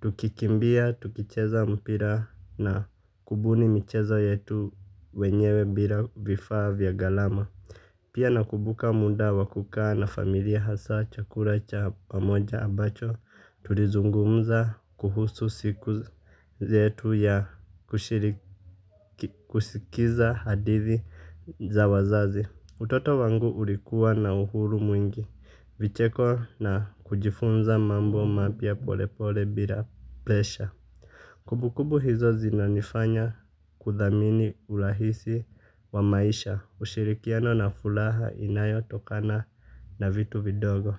Tukikimbia, tukicheza mpira na kubuni michezo yetu wenyewe bila vifa vya galama. Pia nakubuka muda wakukaa na familia hasa chakura cha pamoja abacho tulizungumza kuhusu siku zetu ya kushiriki kusikiza hadithi za wazazi. Utoto wangu ulikua na uhuru mwingi vicheko na kujifunza mambo mapia pole pole bila plesha. Kumbukumbu hizo zinanifanya kudhamini urahisi wa maisha ushirikiano na fulaha inayo tokana na vitu vidogo.